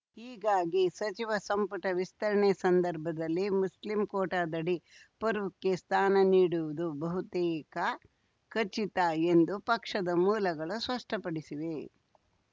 ಹೀಗಾಗಿ ಸಚಿವ ಸಂಪುಟ ವಿಸ್ತರಣೆ ಸಂದರ್ಭದಲ್ಲಿ ಮುಸ್ಲಿಂ ಕೋಟಾದಡಿ ಫಾರೂಕ್‌ಗೆ ಸ್ಥಾನ ನೀಡುವುದು ಬಹುತೇಕ ಖಚಿತ ಎಂದು ಪಕ್ಷದ ಮೂಲಗಳು ಸ್ಪಷ್ಟಪಡಿಸಿವೆ